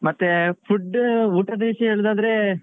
ಮತ್ತೆ food ಊಟದ ವಿಷ್ಯ ಹೇಳುದಾದ್ರೆ